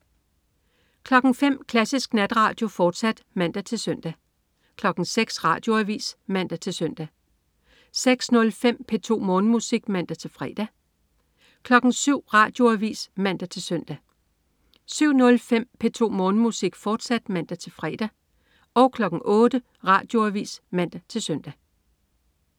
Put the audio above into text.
05.00 Klassisk Natradio, fortsat (man-søn) 06.00 Radioavis (man-søn) 06.05 P2 Morgenmusik (man-fre) 07.00 Radioavis (man-søn) 07.05 P2 Morgenmusik, fortsat (man-fre) 08.00 Radioavis (man-søn)